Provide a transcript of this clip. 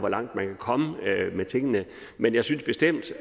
langt man kan komme med tingene men jeg synes bestemt